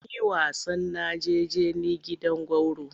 Mun yi wasan najeje ni gidan gwauro.